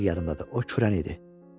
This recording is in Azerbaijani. Dəqi yarımında da o kürəndi.